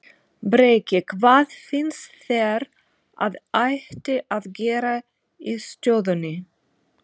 Breki: Hvað finnst þér að ætti að gera í stöðunni?